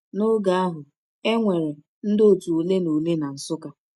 N’oge ahụ, e nwere ndị otu ole na ole na Nsukka.